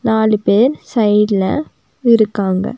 நாலு பேர் சைட்ல இருக்காங்க.